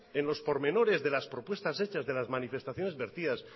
en los pormenores de las propuestas hechas de las manifestaciones vertidas